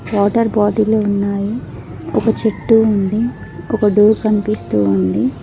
Water bottle ఉన్నాయి ఒక చెట్టు ఉంది ఒకటి దూర్ కనిపిస్తున్నది.